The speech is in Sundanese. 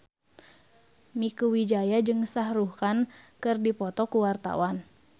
Mieke Wijaya jeung Shah Rukh Khan keur dipoto ku wartawan